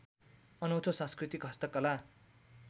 अनौँठो संस्कृति हस्तकला